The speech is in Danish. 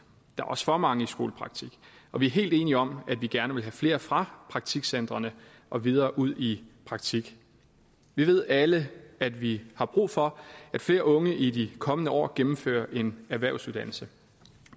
der er også for mange i skolepraktik og vi er helt enige om at vi gerne vil have flere fra praktikcentrene og videre ud i praktik vi ved alle at vi har brug for at flere unge i de kommende år gennemfører en erhvervsuddannelse